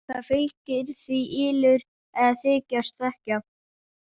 Það fylgir því ylur að þykjast þekkja.